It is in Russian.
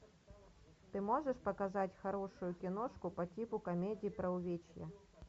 ты можешь показать хорошую киношку по типу комедии про увечья